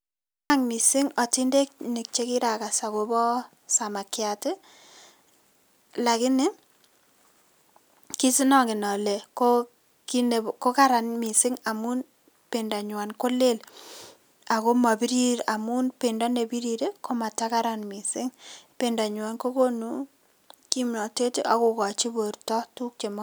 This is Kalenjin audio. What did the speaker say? Chang' missing otindenik chekirakas agobo samakiat ii lakini kisinongen ole ko ki nebo kokaran missing' amun pendanyuan ko lel ako mobirir amun pendo nebirir ii komatakaran missing'. Pendanyuan kokonu kimnotet ak kokochi borto tuguk chemo.